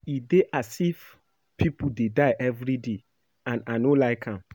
E dey as if people dey die everyday and I no like am